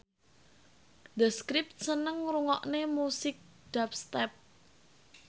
The Script seneng ngrungokne musik dubstep